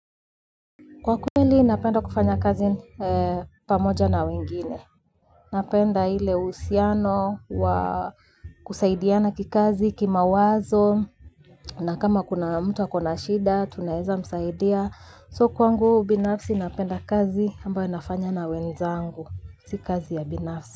Kwa kweli napenda kufanya kazi pamoja na wengine. Napenda ile uhusiano wa kusaidiana kikazi, kimawazo, na kama kuna mtu ako na shida, tunaeza msaidia. So kwangu, binafsi napenda kazi ambayo nafanya na wenzangu, si kazi ya binafsi.